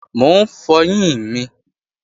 Mò ń fọyín mi